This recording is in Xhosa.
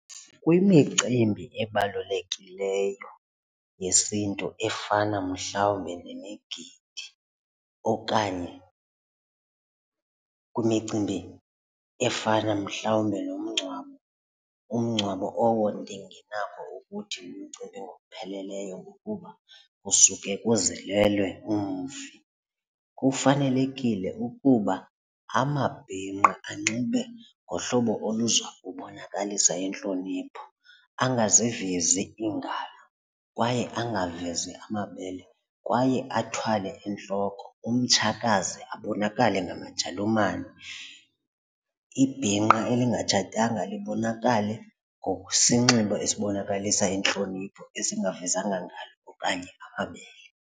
Kwimicimbi ebalulekileyo yesiNtu efana mhlawumbi nemigidi okanye kwimicimbi efana mhlawumbi nomngcwabo, umngcwabo owo ndingenako ukuthi umcimbi ngokupheleleyo ngokuba kusuke kuzilelwe umfi. Kufanelekile ukuba amabhinqa anxibe ngohlobo oluza kubonakalisa intlonipho angazivezi iingalo kwaye angavezi amabele kwaye athwale entloko, umtshakazi abonakale ngamajalumane, ibhinqa elingatshatanga libonakale ngokwesinxibo esibonakalisa intlonipho esinavezanga ngalo okanye amabele.